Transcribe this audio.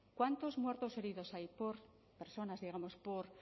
cuántos muertos heridos hay por personas digamos por